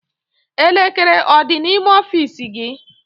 Elekere ọ dị n'ime ọfiisi gị?